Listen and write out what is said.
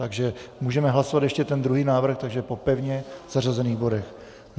Takže můžeme hlasovat ještě ten druhý návrh, takže po pevně zařazených bodech.